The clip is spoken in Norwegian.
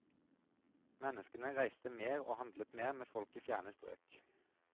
Menneskene reiste mer og handlet mer med folk i fjerne strøk.